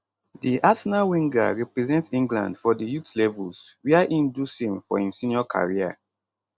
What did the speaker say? di arsenal winger represent england for di youth levels wia im do same for im senior career